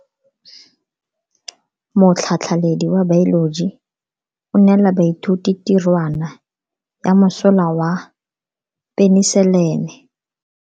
Motlhatlhaledi wa baeloji o neela baithuti tirwana ya mosola wa peniselene.